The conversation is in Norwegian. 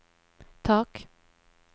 tak